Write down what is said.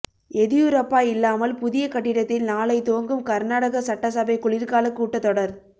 எதியூரப்பா இல்லாமல் புதிய கட்டிடத்தில் நாளை துவங்கும் கர்நாடக சட்டசபை குளிர்கால கூட்டத் தொடர்